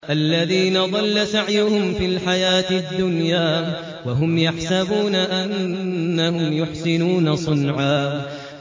الَّذِينَ ضَلَّ سَعْيُهُمْ فِي الْحَيَاةِ الدُّنْيَا وَهُمْ يَحْسَبُونَ أَنَّهُمْ يُحْسِنُونَ صُنْعًا